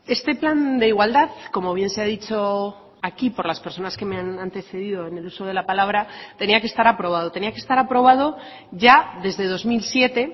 este plan de igualdad como bien se ha dicho aquí por las personas que me han antecedido en el uso de la palabra tenía que estar aprobado tenía que estar aprobado ya desde dos mil siete